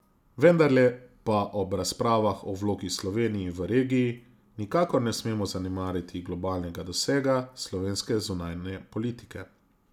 Vendarle pa ob razpravah o vlogi Slovenije v regiji nikakor ne smemo zanemariti globalnega dosega slovenske zunanje politike.